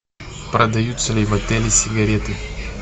продаются ли в отеле сигареты